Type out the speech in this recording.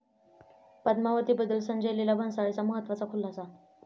पद्मावती'बद्दल संजय लीला भन्साळींचा महत्त्वाचा खुलासा